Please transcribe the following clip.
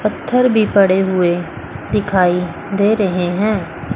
पत्थर भी पड़े हुए दिखाई दे रहे हैं।